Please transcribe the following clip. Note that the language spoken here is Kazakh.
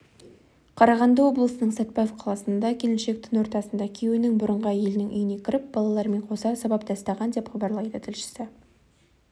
қарағанды облысының сәтпаев қаласында келіншек түн ортасында күйеуінің бұрынғы әйелінің үйіне кіріп балаларымен қоса сабап тастаған деп хабарлайды тілшісі